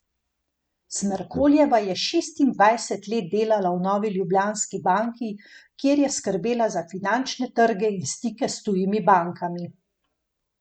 Smerkoljeva je šestindvajset let delala v Novi Ljubljanski banki, kjer je skrbela za finančne trge in stike s tujimi bankami.